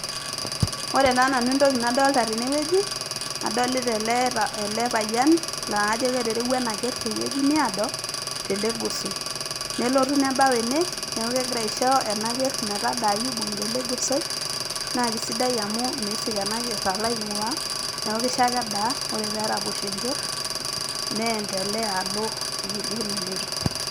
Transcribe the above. Ore nanu entoki nadolita tenewueji kadolita ele payain laa kajo keterewua ena keerr tewueji naado telegosoi nelotu nebau ene neeku kegira aisho ena kerr metadaayu ibung'ita ele gosoi naa kesidai amu miisik ena kerr alo aing'uaa neeku kisho ake edaa ore pee eraposho enkerr niendelea alo ewueji duo neloito.